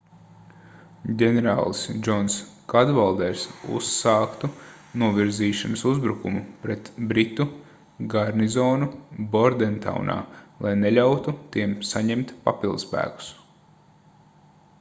ģenerālis džons kadvalders uzsāktu novirzīšanas uzbrukumu pret britu garnizonu bordentaunā lai neļautu tiem saņemt papildspēkus